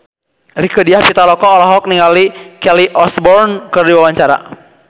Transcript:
Rieke Diah Pitaloka olohok ningali Kelly Osbourne keur diwawancara